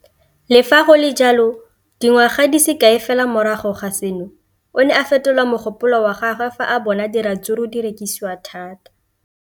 Le fa go le jalo, dingwaga di se kae fela morago ga seno, o ne a fetola mogopolo wa gagwe fa a bona gore diratsuru di rekisiwa thata.